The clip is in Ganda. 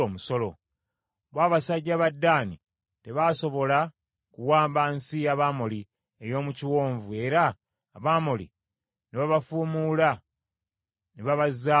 Bo abasajja ba Ddaani tebaasobola kuwamba nsi y’Abamoli ey’omu kiwonvu era Abamoli ne babafuumuula ne baabazaayo mu nsozi.